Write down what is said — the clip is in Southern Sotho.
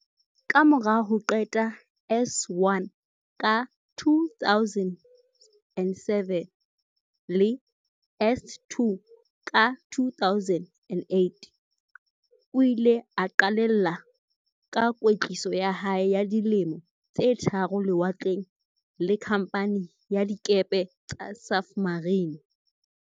Kamora ho qeta S1 ka 2007 le S2 ka 2008, o ile a qalella ka kwetliso ya hae ya di lemo tse tharo lewatleng, le Khamphani ya Dikepe tsa Safmarine.